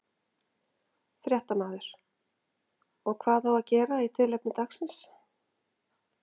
Fréttamaður: Og hvað á að gera í tilefni dagsins?